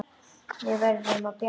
Við verðum að bjarga honum.